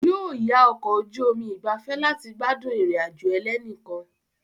Yóò yá ọkọ̀ ojú omi ìgbafẹ́ láti gbádùn ìrìn àjò ẹlẹ́nìkan.